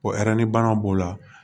Ko banaw b'o la